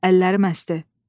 Əllərim əsdi.